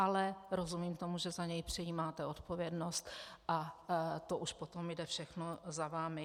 Ale rozumím tomu, že za něj přejímáte odpovědnost, a to už potom jde všechno za vámi.